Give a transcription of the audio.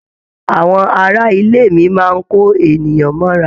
Àwọn ará ilé mi máa n kò èèyàn mọ'ra.